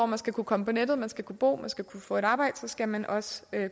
man skal kunne komme på nettet man skal kunne bo og man skal kunne få et arbejde skal man også